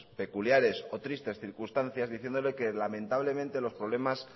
peculiares o tristes circunstancias diciéndole que lamentablemente los problemas